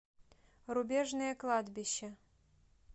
рубежное кладбище